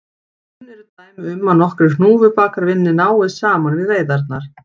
Kunn eru dæmi um að nokkrir hnúfubakar vinni náið saman við veiðarnar.